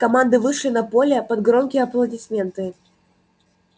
команды вышли на поле под громкие аплодисменты